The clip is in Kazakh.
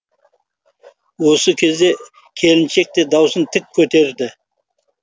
осы кезде келіншек те даусын тік көтерді